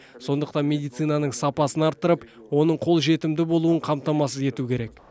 сондықтан медицинаның сапасын арттырып оның қолжетімді болуын қамтамасыз ету керек